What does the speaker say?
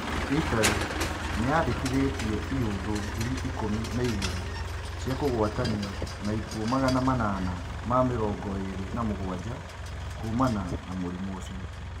Itarĩ nĩĩrekondete iũndũ ngiri ikũmi na-igĩrĩ cia kũgwatanio na ikuũ magana manana ma-mĩrongoĩrĩ na-mũgũanja kuumana na mũrimũ ũcio.